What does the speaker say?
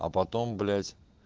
а потом блять